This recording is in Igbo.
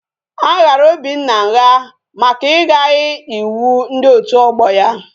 A ghara Obinna ngha maka igaghi iwu ndi otu ogbo ya